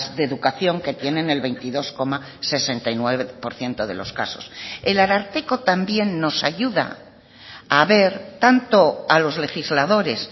de educación que tienen el veintidós coma sesenta y nueve por ciento de los casos el ararteko también nos ayuda a ver tanto a los legisladores